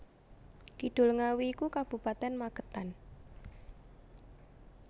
Kidul Ngawi iku Kabupaten Magetan